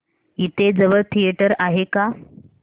इथे जवळ थिएटर आहे का